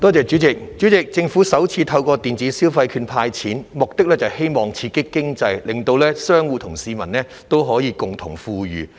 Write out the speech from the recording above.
主席，政府首次透過電子消費券"派錢"，目的是希望刺激經濟，令商戶和市民都可以共同富裕。